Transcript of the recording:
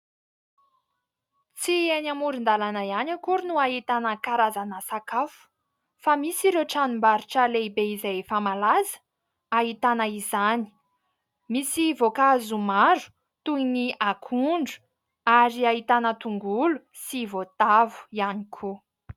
Tsy eny amoron-dalàna ihany akory no ahitana karazana sakafo fa misy ireo tranom-barotra lehibe izay efa malaza ahitana izany, misy voankazo maro toy ny akondro ary ahitana tongolo sy voatavo ihany koa.